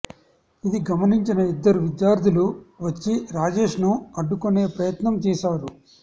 ఇది గమనించిన ఇద్దరు విద్యార్థులు వచ్చి రాజేష్ ను అడ్డుకునే ప్రయత్నం చేశారు